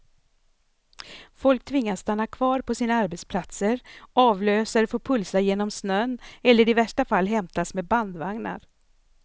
Folk tvingas stanna kvar på sina arbetsplatser, avlösare får pulsa genom snön eller i värsta fall hämtas med bandvagnar.